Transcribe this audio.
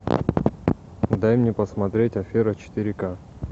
дай мне посмотреть афера четыре ка